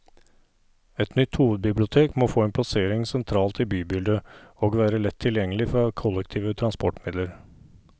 Et nytt hovedbibliotek må få en plassering sentralt i bybildet, og være lett tilgjengelig fra kollektive transportmidler.